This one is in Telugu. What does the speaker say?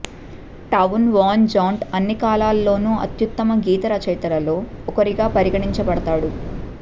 టౌన్ వాన్ జాంట్ట్ అన్ని కాలాలలోనూ అత్యుత్తమ గీతరచయితలలో ఒకరిగా పరిగణించబడతాడు